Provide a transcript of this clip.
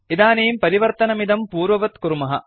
इदानीं परिवर्तनमिदं पूर्ववत् कुर्मः